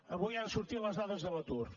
avui han sortit les dades de l’atur